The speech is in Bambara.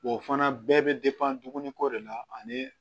O fana bɛɛ bɛ ko de la ani